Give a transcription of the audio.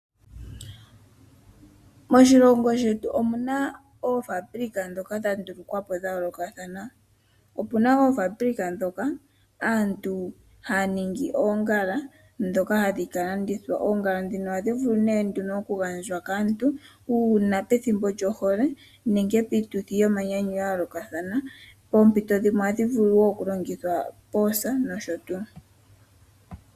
Moshilongo shetu omu na oofaabulika ndhoka dha ndulukwa po dha yoolokathana. Opu na oofaabulika moka aantu haya ningi oongala ndhoka hadhi ka landithwa. Oongala ndhino ohadhi vulu okugandhwa kaantu uuna pethimbo lyohole nenge piituthi yomanyanyu ya yoolokathana. Poompito dhimwe ohadhi vulu wo okulongithwa poosa nosho tuu.